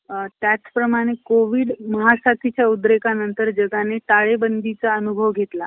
या स्वीकारातूनच आपल्या इच्छेत आपल्या इच्छेत कार्याला आकार येईल. हळहळू सत~ हळूहळू तसच होत गेलं. नागपूरचे वामनराव,